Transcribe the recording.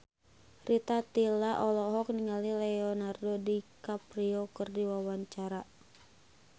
Rita Tila olohok ningali Leonardo DiCaprio keur diwawancara